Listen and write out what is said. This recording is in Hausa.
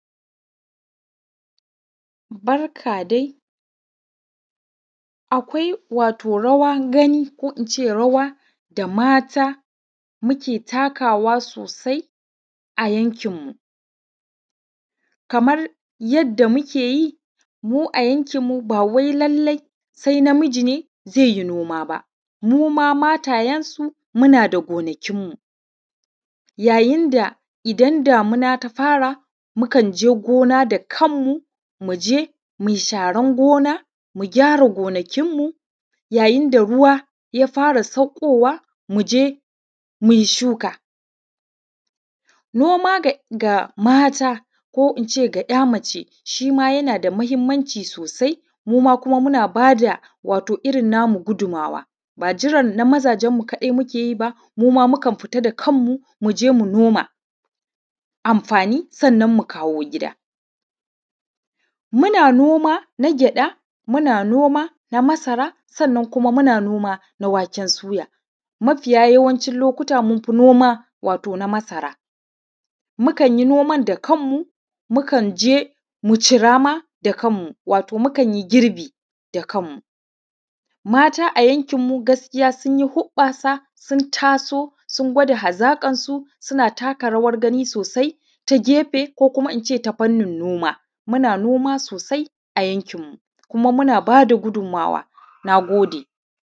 Barka dai, akwai wato rawan ɡani, ko inːce rawa, ko inː ce rawa da mata suke takawa sosai a yankinmu, kamar yanda muke yi, mu a yankinmu, ba wai lallai sɛ na miji ne zeː yi noma ba, muma mataːyenmu muna da ɡonakinmu. Yayin da damina ta fara, mukan jɛ ɡona da kanmu, mu jeː mu yi saran ɡona, mu kyara ɡonakinmu, yayin da ruwa ya fara saukːowa, mu jeː mu yi shuka, noma ɡa mata, ko inː ce ɡa yaː mace, shi ma yana da mahimmanci sosai, muma muna bada wato irin namu ɡudumawa, ba jiran na majanzanmu kaɗai muke yi ba, muma mukan fita da kanmu, mu jeː mu noma, sannan mu koma amfani, mu kawo ɡida. Muna noma na ɡyaːda, kuma muna noma na masara, sannan kuma muna noma na waken suya, mafiya yawancin lokuta, mun fi noma wato na masara. Mukan yi noman da kan mu, mu kan jɛː mu cira ma da kanmu wato mukan yi ɡirbi da kanmu, mata gaskiya a yankinmu sun yi huɓɓaːsa, sun taso, sun ɡwada hazaƙarsu, suna takarawar ɡani sosai ta ɡɛfɛ, ko kuma inː ce ta fannin noma, muna noma sosai a yankinmu, kuma muna baː da ɡudumawa. Na ɡodɛ.